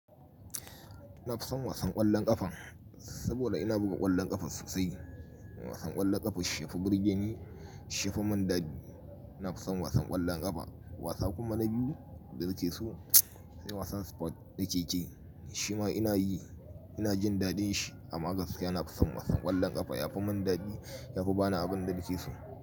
Na fison wasan ƙwallon ƙafa saboda ina buga ƙwallon ƙafa sosai. Wasan ƙwallon ƙafa shi yafi birge ni shi ya fi min daɗi. Na fi son wasan ƙwallon ƙafa. Wasa kuma na biyu da nakeso sai wasan sport na keke. Shi ma ina yi, ina jin daɗin shi amma gaskiya na fi son wasan ƙwallon ƙafa. Yafi mun daɗi ya fi ba ni abin da nake so.